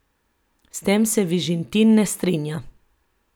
S tem se Vižintin ne strinja.